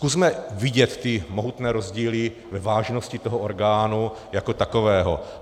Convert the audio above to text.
Zkusme vidět ty mohutné rozdíly ve vážnosti toho orgánu jako takového.